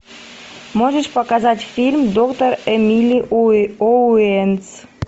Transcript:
можешь показать фильм доктор эмили оуэнс